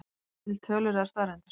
Eru til tölur eða staðreyndir?